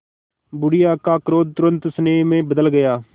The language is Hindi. बुढ़िया का क्रोध तुरंत स्नेह में बदल गया